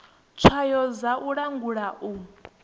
tswayo dza u langula u